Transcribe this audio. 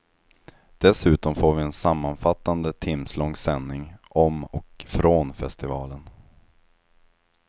Dessutom får vi en sammanfattande timslång sändning om och från festivalen.